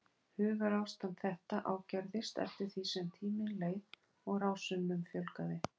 Hugarástand þetta ágerðist eftir því sem tíminn leið og rásunum fjölgaði.